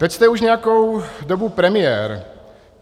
Teď jste už nějakou dobu premiér.